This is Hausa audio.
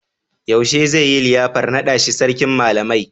Yaushe zai yi liyafar naɗa shi Sarkin Malamai?